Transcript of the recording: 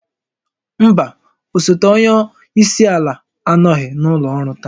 Mba, osote onye isi ala anọghị n'ụlọ ọrụ taa